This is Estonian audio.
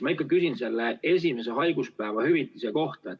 Ma ikkagi küsin selle esimese haiguspäeva hüvitamise kohta.